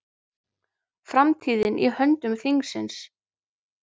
Framtíðin í höndum þingsins